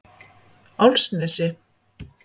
Álfsnesi